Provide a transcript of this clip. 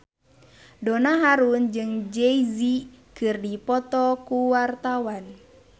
Donna Harun jeung Jay Z keur dipoto ku wartawan